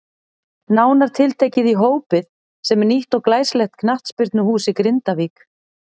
Nánar tiltekið í Hópið sem er nýtt og glæsilegt knattspyrnuhús í Grindavík.